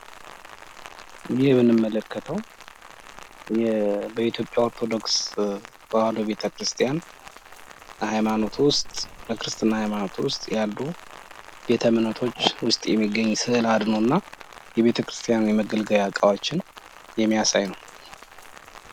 ይህ የምንመለከተው በኢትዮጵያ ኦርቶዶክስ ተዋህዶ ቤተክርስቲያን ሀይማኖት ውስጥ በክርስትና ሀይማኖት ውስጥ ያሉ ቤተ እምነቶች ውስጥ የሚገኝ ስዕል አድኖና የቤተክርስቲያን የመገልገያ እቃዎችን የሚያሳይ ነው።